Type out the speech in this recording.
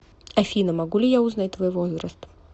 афина могу ли я узнать твой возраст